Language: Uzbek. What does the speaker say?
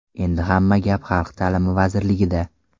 Endi hamma gap Xalq ta’limi vazirligida.